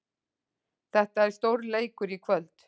Þetta er stórleikur í kvöld.